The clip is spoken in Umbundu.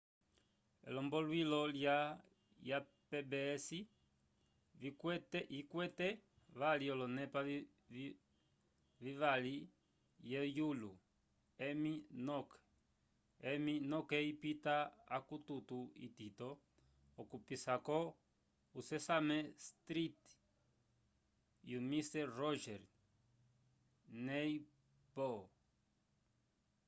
elomboluilo ya pbs yikwete vali olonepa vivavi ye yulo emmy noke ipita akukuto itito okupisako o sesame street e o mister rogers neighborho